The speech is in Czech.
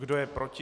Kdo je proti?